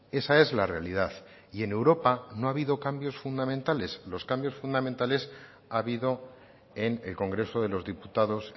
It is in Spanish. esa es la realidad y en europa no ha habido cambios fundamentales los cambios fundamentales ha habido en el congreso de los diputados